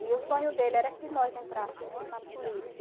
E o sonho dele era que nós entrássemos na política.